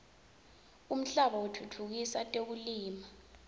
umhlaba wekutfutfukisa tekulima